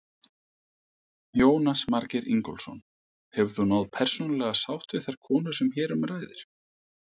Jónas Margeir Ingólfsson: Hefur þú náð persónulega sátt við þær konur sem hér um ræðir?